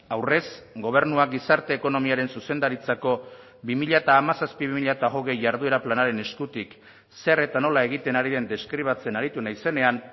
aurrez gobernua gizarte ekonomiaren zuzendaritzako bi mila hamazazpi bi mila hogei jarduera planaren eskutik zer eta nola egiten hari den deskribatzen aritu naizenean